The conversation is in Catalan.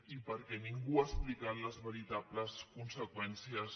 i perquè ningú n’ha explicat les veritables conseqüèn·cies